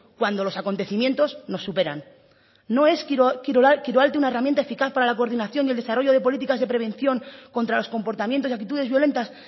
cuando los acontecimiento nos superan no es kirolalde una herramienta eficaz para la coordinación y desarrollo de políticas de prevención contra los comportamientos y actitudes violentas